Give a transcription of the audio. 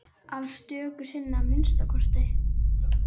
Stöku sinnum að minnsta kosti.